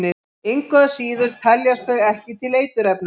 Engu að síður teljast þau ekki til eiturefna.